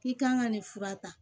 I kan ka nin fura ta